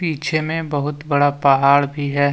पीछे में बहुत बड़ा पहाड़ भी है।